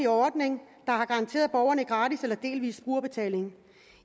ordning der har garanteret borgerne gratis behandling eller delvis brugerbetaling